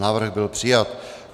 Návrh byl přijat.